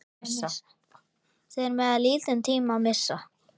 Þeir mega lítinn tíma missa.